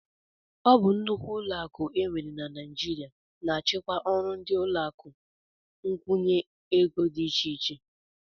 Ọ bụ nnukwu ụlọakụ e nwere na Naijiria na-achịkwa ọrụ ndị ụlọakụ nkwụnye ego dị iche iche